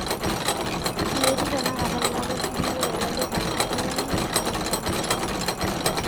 metii tenakata ina toki niyieu ele duka lang, iyanyu ake amu lkeyauni taisere